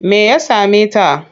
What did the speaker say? Me ya same ta?